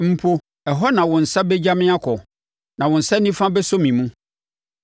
mpo ɛhɔ na wo nsa bɛgya me akɔ, na wo nsa nifa bɛsɔ me mu.